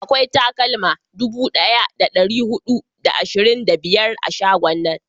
akwai takalma dubu daya da dari hudu da ashirin da biyar a shagon nan